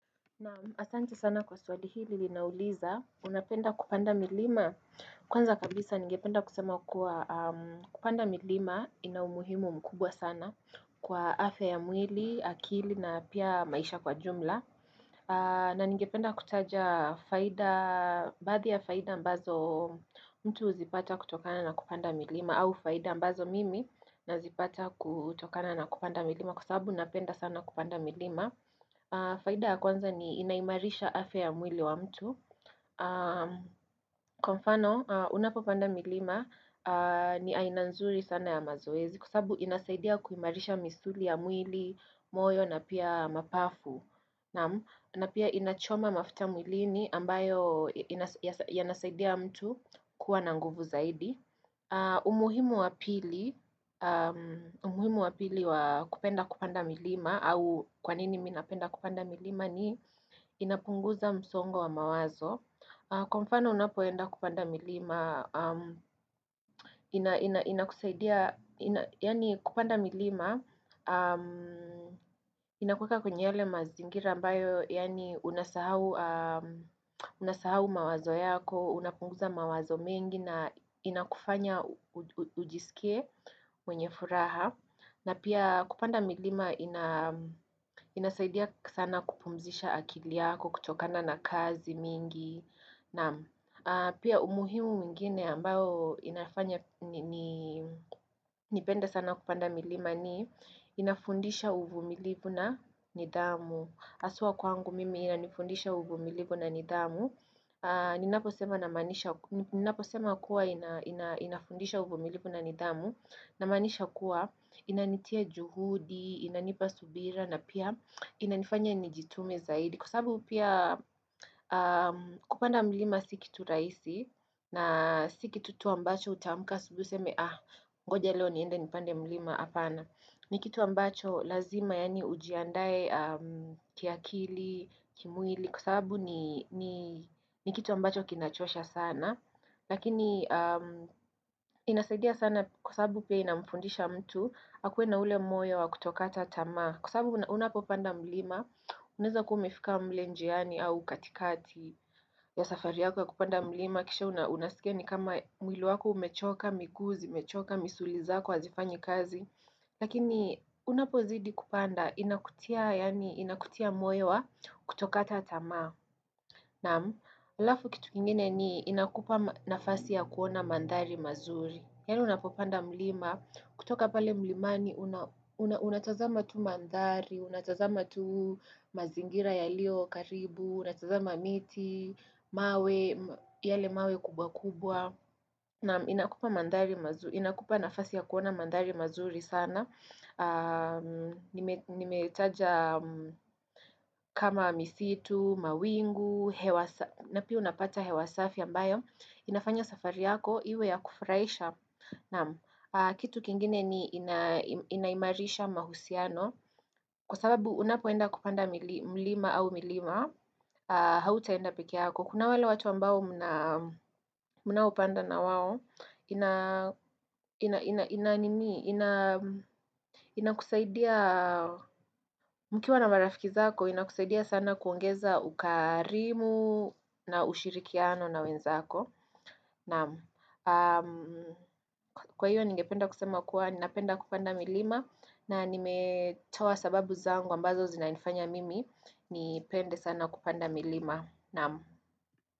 Naam asante sana kwa swali hili linauliza unapenda kupanda milima Kwanza kabisa nige penda kusema kuwa kupanda milima ina umuhimu mkubwa sana Kwa afya ya mwili, akili na pia maisha kwa jumla na nige penda kutaja faida, baadhi ya faida ambazo mtu uzipata kutokana na kupanda milima au faida ambazo mimi nazipata kutokana na kupanda milima Kwa sababu napenda sana kupanda milima faida ya kwanza ni inaimarisha afya ya mwili wa mtu Kwa mfano, unapopanda milima ni aina nzuri sana ya mazoezi Kwa sababu inasaidia kuimarisha misuli ya mwili, moyo na pia mapafu na pia inachoma mafuta mwilini ambayo inasaidia mtu kuwa nanguvu zaidi umuhimu wa pili, umuhimu wa pili wa kupenda kupanda milima au kwanini minapenda kupanda milima ni inapunguza msongo wa mawazo Kwa mfano unapoenda kupanda milima, inakusaidia, yaani kupanda milima Inakuweka kwenye yale mazingira ambayo, yani unasahau mawazo yako unapunguza mawazo mengi na inakufanya ujisikie mwenye furaha. Na pia kupanda milima inasaidia sana kupumzisha akiliyako kutokana na kazi mingi. Na pia umuhimu mingine ambao inafanya nipenda sana kupanda milima ni inafundisha uvu milivu na nidhamu. Aswa kwangu mimi inanifundisha uvu milivu na nidhamu. Ninapo sema kuwa inafundisha uvumilivu na nidhamu na manisha kuwa inanitia juhudi, inanipa subira na pia inanifanya nijitume zaidi Kwa sababu pia kupanda mlima sikitu raisi na sikitu tu ambacho utamka asubui useme ah ngoja leo niende nipande mlima apana Nikitu ambacho lazima yaani ujiandae kiakili, kimwili kwa sababu ni kitu ambacho kinachosha sana lakini inasaidia sana kwa sababu pia inamfundisha mtu akuwe na ule moyo wa kutokata tamaa kwa sababu unapopanda mlima unaeza umefika mle njiani au katikati ya safariyako ya kupanda mlima kisha unasikia ni kama mwili wako umechoka miguu, zimechoka, misuli zako, hazifanyi kazi lakini unapozidi kupanda inakutia moyo wa kutokata tamaa Naam, alafu kitu kingine ni inakupa nafasi ya kuona mandhari mazuri. Yali unapopanda mlima, kutoka pale mlimani, unatazama tu mandhari, unatazama tu mazingira ya liyo karibu, unatazama miti, mawe, yale mawe kubwa kubwa. Nam, inakupa nafasi ya kuona mandari mazuri sana. Nimetaja kama misitu, mawingu, napia unapata hewasafi ambayo inafanya safari yako, iwe ya kufraisha Kitu kingine ni inaimarisha mahusiano Kwa sababu unapoenda kupanda milima au milima hau taenda peke yako Kuna wale watu ambao mna opanda na wao ina, ina, ina, ina, ina, ina, ina, ina, ina, ina kusaidia, mkiwa na marafiki zako, ina kusaidia sana kuongeza ukarimu na ushirikiano na wenzako. Naam, aam, kwa hiyo ningependa kusema kuwa, napenda kupanda milima, na nimetoa sababu zangu ambazo zinanifanya mimi, nipende sana kupanda milima. Naam.